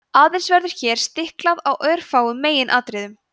aðeins verður hér stiklað á örfáum meginatriðum